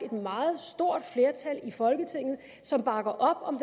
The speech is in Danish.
et meget stort flertal i folketinget som bakker op om